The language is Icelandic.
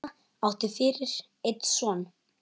Elísa átti fyrir einn son.